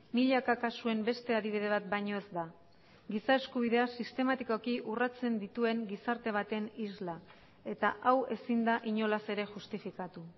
milaka kasuen beste adibide bat baino ez da giza eskubideak sistematikoki urratzen dituen gizarte baten isla eta hau ezin da inolaz ere justifikatu